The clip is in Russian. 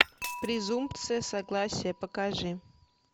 презумпция согласия покажи